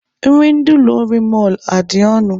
Nri ndị ụlọ nri mọlụ a adị ọnụ?